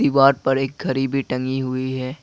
पर एक घड़ी भी टंगी हुई है।